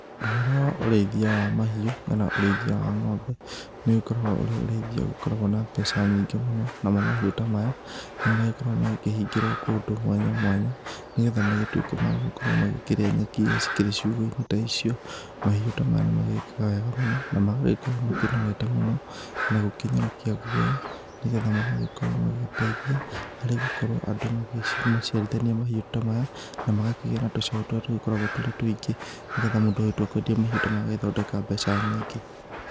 Ũhoro wa ũrĩithia wa mahiũ kana ũrĩithia wa ng'ombe, nĩ ũgĩkoragwo ũrĩ ũrĩithia ũgĩkoragwo na mbeca nyingĩ mũno. Namo mahiũ ta maya, nĩ magĩkoragwo magĩkĩhingĩrwo kũndũ mwanya mwanya, nĩgetha magĩtuĩke magũgĩkorwo makĩrĩa nyeki iria cikĩrĩ ciũgũ-inĩ ta icio. Mahiũ ta maya nĩ magĩĩkaga wega mũno na magagĩkorwo makĩnorete mũno, na gũkĩnyorokia guoya, nĩgetha magagĩkorwo magĩgĩteithia harĩ gũkorwo andũ magĩmaciarithania mahiũ ta maya. Na magakĩgĩa na tũcaũ tũrĩa tũkoragwo tũrĩ tũingĩ, nĩgetha mũndũ angĩtua kwendia mahiũ ta maya agagĩthondeka mbeca nyingĩ.